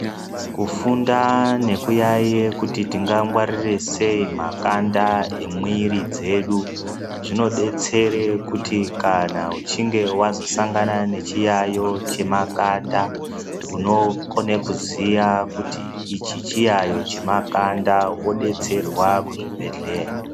Kufunda nekuyaiya kuti tingangwarira sei makanda emwiri dzedu zvinodetsere kuti kana uchinge wazosangana nechiyaiyo chemakanda unokone kuziya kuti ichi chiyaiyo chemakanda wodetserwa kuzvibhedhleya.